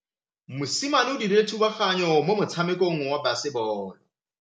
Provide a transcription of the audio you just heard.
Mosimane o dirile thubaganyô mo motshamekong wa basebôlô.